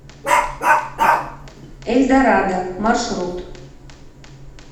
эльдорадо маршрут